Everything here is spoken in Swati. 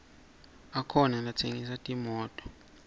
akhona latsengisa timoto